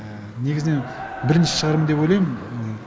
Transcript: негізінен бірінші шығармын деп ойлаймын